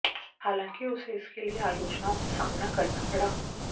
हलांकि उसे इसके लिए आलोचनाओं का सामना करना पड़ा